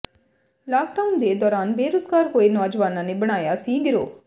lock down ਦੇ ਦੌਰਾਨ ਬੇਰੁਜ਼ਗਾਰ ਹੋਏ ਨੌਜਵਾਨਾਂ ਨੇ ਬਣਾਇਆ ਸੀ ਗਿਰੋਹ